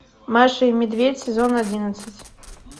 маша и медведь сезон одиннадцать